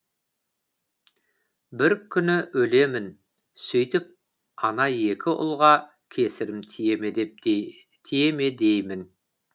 бір күні өлемін сөйтіп ана екі ұлға кесірім тие ме деймін